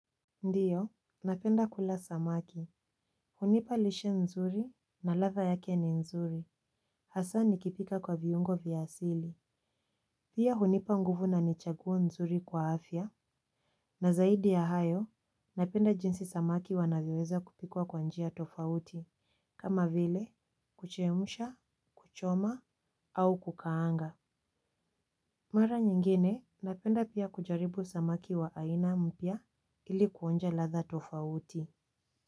Ndiyo, napenda kula samaki. Hunipa lishe nzuri na ladha yake ni nzuri. Hasa nikipika kwa viungo vya asili. Pia hunipa nguvu na ni chaguo nzuri kwa afya. Na zaidi ya hayo, napenda jinsi samaki wanavyoweza kupikwa kwa njia tofauti. Kama vile, kuchemsha, kuchoma, au kukaanga. Mara nyingine, napenda pia kujaribu samaki wa aina mpya ili kuonja ladha tofauti.